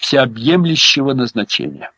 всеобъемлющего назначение